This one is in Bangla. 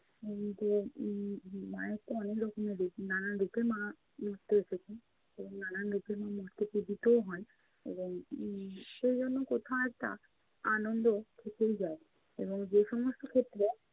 উম তো উম মায়ের তো অনেক রকমের রূপ। নানা রূপে মা মর্তে এসেছেন এবং নানান রূপে মর্তে পুঁজিতও হয়, এবং উম সেজন্য কোথাও একটা আনন্দ থেকেই যায় এবং যে সমস্ত ক্ষেত্রে